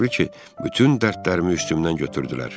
Elə bil ki, bütün dərdlərimi üstümdən götürdülər.